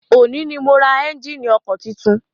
Òní ni mo ra ẹ́njíìnì ọkọ̀ titun.